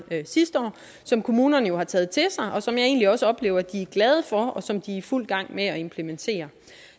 med sidste år som kommunerne har taget til sig og som jeg egentlig også oplever at de er glade for og som de er i fuld gang med at implementere